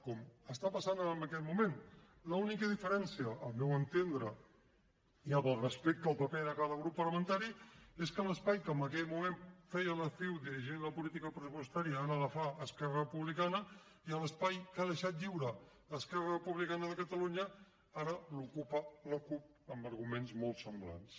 com està passant en aquest moment l’única diferència al meu entendre i amb el respecte del paper de cada grup parlamentari és que l’espai que en aquell moment feia la ciu dirigint la política pressupostària ara la fa esquerra republicana i l’espai que ha deixat lliure esquerra republicana de catalunya ara l’ocupa la cup amb arguments molt semblants